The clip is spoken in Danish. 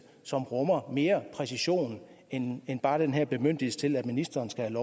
som rummer mere præcision end bare den her bemyndigelse til at ministeren skal